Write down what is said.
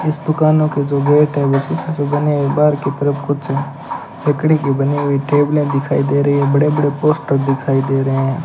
इस दुकानों के जो गेट हैं जो शीशे से बने बाहर की तरफ कुछ लकड़ी की बनी हुई टेबले दिखाई दे रही है बड़े बड़े पोस्टर दिखाई दे रहे हैं।